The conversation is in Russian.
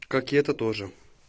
как это тоже